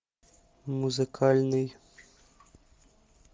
музыкальный